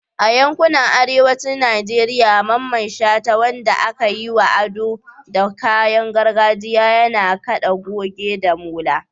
A yankunan arewacin Najeriya, Mamman Shata, wanda aka yi wa ado da kayan gargajiya, yana kada goge da molo.